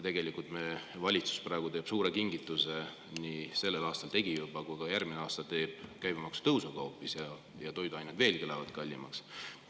Tegelikult teeb meie valitsus praegu hoopis suure kingituse – ta tegi seda sellel aastal ja teeb ka järgmisel aastal – käibemaksu tõusuga, ja toiduained lähevad veelgi kallimaks.